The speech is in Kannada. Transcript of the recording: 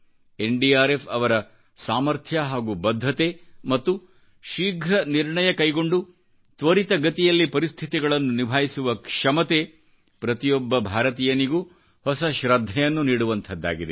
ಎನ್ಡಿಆರ್ಎಫ್ಅವರಸಾಮಥ್ರ್ಯ ಹಾಗೂ ಬದ್ಧತೆ ಮತ್ತು ಶೀಘ್ರ ನಿರ್ಣಯ ಕೈಗೊಂಡು ತ್ವರಿತ ಗತಿಯಲ್ಲಿ ಪರಿಸ್ಥಿತಿಗಳನ್ನು ನಿಭಾಯಿಸುವ ಕ್ಷಮತೆ ಪ್ರತಿಯೊಬ್ಬ ಭಾರತೀಯನಿಗೂಹೊಸ ಶೃದ್ಧೆಯನ್ನು ನೀಡುವಂಥದ್ದಾಗಿದೆ